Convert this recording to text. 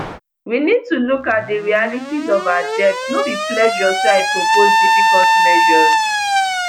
we need to look at di realities of our debt no be pleasure say i propose difficult measures